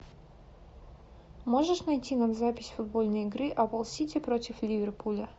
можешь найти нам запись футбольной игры апл сити против ливерпуля